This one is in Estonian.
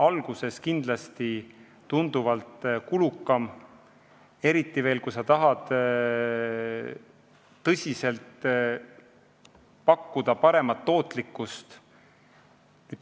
Algus on kindlasti tunduvalt kulukam, eriti, kui sa tahad pakkuda paremat tootlikkust.